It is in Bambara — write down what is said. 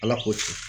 Ala k'o tiɲɛ